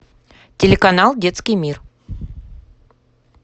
телеканал детский мир